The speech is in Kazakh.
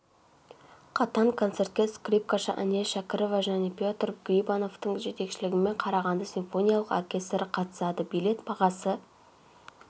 қатан концертке скрипкашы әнел шәкірова және петр грибановтың жетекшілігімен қарағанды симфониялық оркестрі қатысады билет бағасы